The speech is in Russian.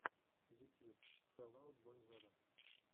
ютьюб фэл аут бой вево